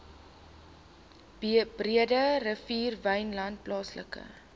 breederivier wynland plaaslike